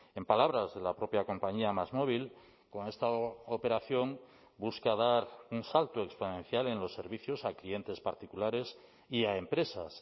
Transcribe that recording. en palabras de la propia compañía másmóvil con esta operación busca dar un salto exponencial en los servicios a clientes particulares y a empresas